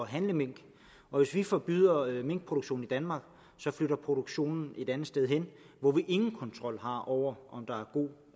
handle mink og hvis vi forbyder minkproduktion i danmark så flytter produktionen et andet sted hen hvor vi ingen kontrol har over om der er god